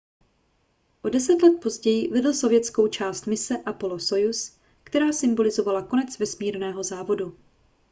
o deset let později vedl sovětskou část mise apollo-sojuz která symbolizovala konec vesmírného závodu